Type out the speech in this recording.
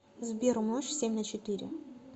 сбер умножь семь на четыре